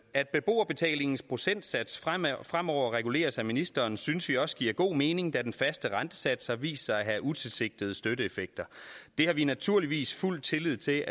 at beboerbetalingens procentsats fremover fremover reguleres af ministeren synes vi også giver god mening da den faste rentesats har vist sig at have utilsigtede støtteeffekter det har vi naturligvis fuld tillid til